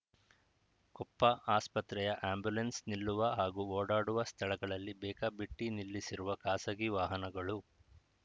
ಕೊಪ್ಪ ಆಸ್ಪತ್ರೆಯ ಆಂಬ್ಯುಲೆನ್ಸ್‌ ನಿಲ್ಲುವ ಹಾಗೂ ಓಡಾಡುವ ಸ್ಥಳಗಳಲ್ಲಿ ಬೇಕಾಬಿಟ್ಟಿನಿಲ್ಲಿಸಿರುವ ಖಾಸಗಿ ವಾಹನಗಳು